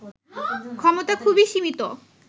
ক্ষমতা খুবই সীমিত